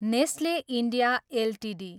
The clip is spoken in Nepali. Nestlé India Ltd